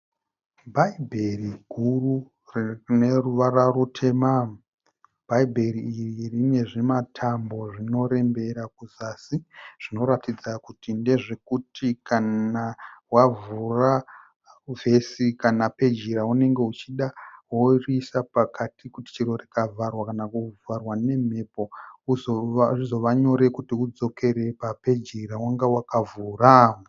Bhaibheri guru rine ruvara rutema. Bhaibheri iri rine zvimatambo zvinorembera kuzasi zvinoratidza kuti ndezvekuti kana wavhura vesi kana peji yaunenge uchida worisa pakati kuti chero rikavharwa kana rikavharwa nemhepo zvizova nyore kuti udzokere papeji yawanga wakavhura